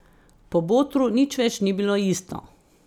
Po Botru nič več ni bilo isto.